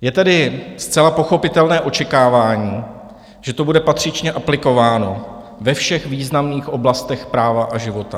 Je tedy zcela pochopitelné očekávání, že to bude patřičně aplikováno ve všech významných oblastech práva a života.